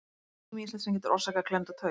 Það er ýmislegt sem getur orsakað klemmda taug.